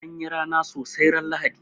An yi rana sosai ran Lahadi.